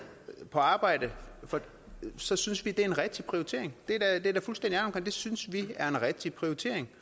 på arbejde så synes vi det er en rigtig prioritering det er vi da fuldstændig ærlige omkring det synes vi er en rigtig prioritering